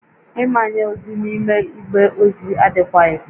Ịmanye ozi n'ime igbe ozi adịkwaghị